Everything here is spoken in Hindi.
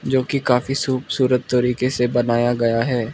जो की काफी सुबसूरत तरीके से बनाया गया है।